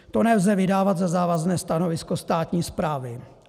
To nelze vydávat za závazné stanovisko státní správy.